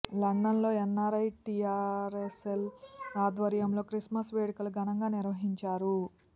London లో NRI TRS cell ఆధ్వర్యంలో Christmas వేడుకలు ఘనంగా నిర్వహించారు